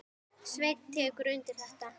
Sveinn tekur undir þetta.